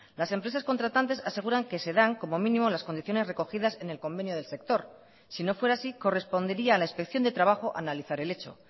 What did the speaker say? las empresas contratantes aseguran que se dan como mínimo las condiciones recogidas en el convenio del sector si no fuera así correspondería a la inspección de trabajo analizar el hecho